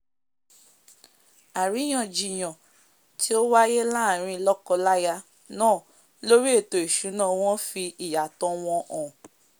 àríyàn jiyàn tí ó wáyé láàrin lọ́kọ láyà náà lórí ètò ìsúná wọn fì ìyàtọ̀ wọn hàn